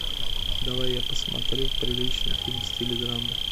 давай я посмотрю приличный фильм в стиле драмы